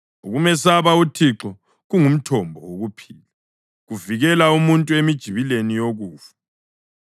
Ukumesaba uThixo kungumthombo wokuphila, kuvikela umuntu emijibileni yokufa.